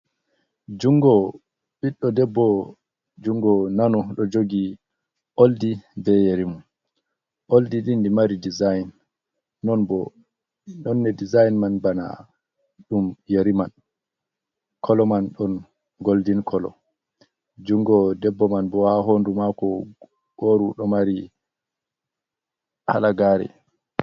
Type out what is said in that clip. Jungo ɓiɗɗo debbo jungo nano ɗo jogi oldi be yarimu oldi dindi mari dezign non bo nonne dezign man bana dum yari man kolo man don goldin kolo jungo debbo man bo ha hondu mako goru do mari halagare.